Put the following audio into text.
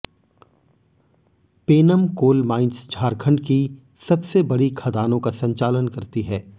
Penam coal mines Jharkhand की सबसे बड़ी खदानों का संचालन करती है